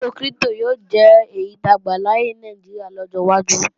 Owó kírípítò yóò jẹ́ èyí táa gbàláyè ní Nàìjíríà lọ́jọ́ wájú